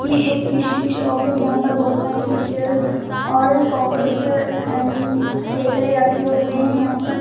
ये एक फिश की शॉप है जहां पर बहुत सारे फिशेज और कॉकरोच आई मिंग केकरे रखे हुए है यहां पर।